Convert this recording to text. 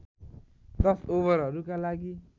१० ओभरहरूका लागि